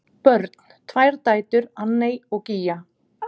Börn: Tvær dætur, Anney og Gígja.